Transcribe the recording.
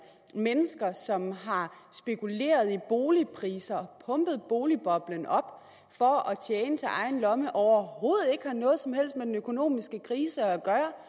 mennesker som har spekuleret i boligpriser og har pumpet boligboblen op for at tjene til egen lomme overhovedet ikke har noget som helst med den økonomiske krise at